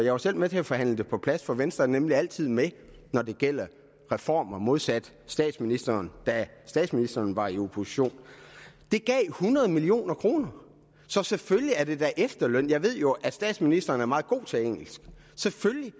var selv med til at forhandle det på plads for venstre er nemlig altid med når det gælder reformer modsat statsministeren da statsministeren var i opposition gav hundrede million kroner så selvfølgelig er det da efterløn jeg ved jo at statsministeren er meget god til engelsk og selvfølgelig